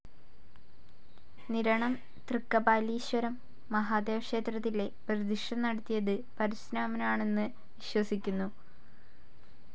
നിരണം തൃക്കപാലീശ്വരം മഹാദേവക്ഷേത്രത്തിലെ പ്രതിഷ്ഠ നടത്തിയത് പരശുരാമനാണന്നു വിശ്വസിക്കുന്നു.